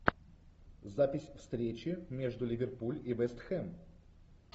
запись встречи между ливерпуль и вест хэм